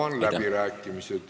Avan läbirääkimised.